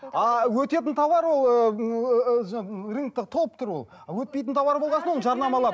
а өтетін тауар ол рынокта толып тұр ол өтпейтін тауар болған соң оны жарнамалап